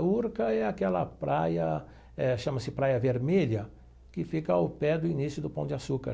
Urca é aquela praia, eh chama-se Praia Vermelha, que fica ao pé do início do Pão de Açúcar.